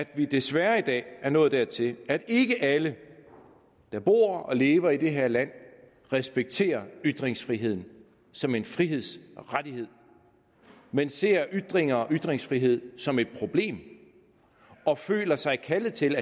vi desværre i dag er nået dertil at ikke alle der bor og lever i det her land respekterer ytringsfriheden som en frihedsrettighed men ser ytringer og ytringsfrihed som et problem og føler sig kaldet til